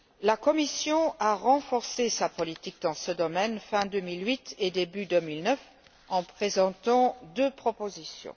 La Commission a renforcé sa politique dans ce domaine, fin 2008 et début 2009, en présentant deux propositions.